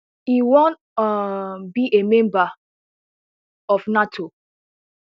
e wan um be a member of nato